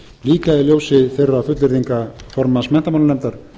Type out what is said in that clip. líka í ljósi þeirra fullyrðinga formanns menntamálanefndar